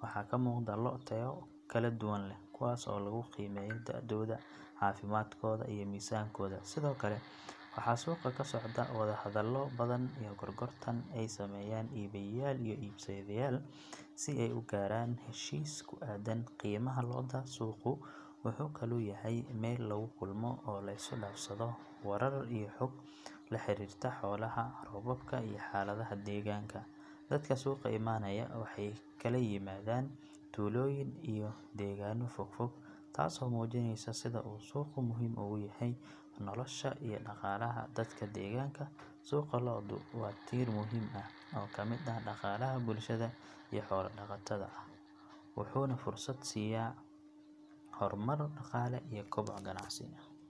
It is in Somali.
waxaa ka muuqda lo' tayo kala duwan leh kuwaas oo lagu qiimeeyo da'dooda, caafimaadkooda, iyo miisaankooda sidoo kale waxaa suuqa ka socda wadahadallo badan iyo gorgortan ay sameeyaan iibiyayaal iyo iibsadayaal si ay u gaaraan heshiis ku aaddan qiimaha lo'da suuqu wuxuu kaloo yahay meel lagu kulmo oo la is dhaafsado warar iyo xog la xiriirta xoolaha, roobka iyo xaaladaha deegaanka dadka suuqa imanaya waxay kala yimaadaan tuulooyin iyo deegaano fogfog taasoo muujinaysa sida uu suuqu muhiim ugu yahay nolosha iyo dhaqaalaha dadka deegaanka suuqa lo'du waa tiir muhiim ah oo ka mid ah dhaqaalaha bulshada xoolo dhaqatada ah wuxuuna fursad siinayaa horumar dhaqaale iyo koboc ganacsi.